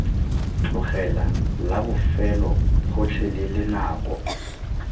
tlogela la bofelo gotlhelele nako